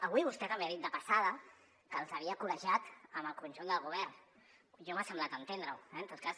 avui vostè també ha dit de passada que els havia col·legiat amb el conjunt del govern a mi m’ha semblat entendre ho eh en tot cas